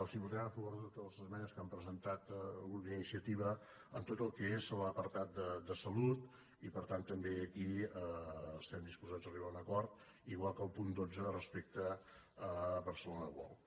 els votarem a favor de totes les esmenes que han presentat el grup d’iniciativa en tot el que és l’apartat de salut i per tant també aquí estem disposats a arribar a un acord igual que al punt dotze respecte a barcelona world